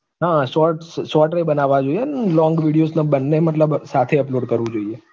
હા shorts shorts એ બનાવવા જોઈએ અને long videos પણ બંને મતલબ સાથે upload કરવું જોઈએ